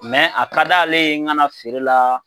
Mɛ a ka d'ale ye n ga na feere la